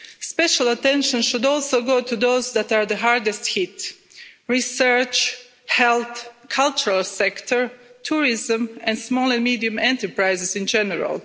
Special attention should also go to those that are the hardest hit research, health, the cultural sector, tourism and small and medium enterprises in general.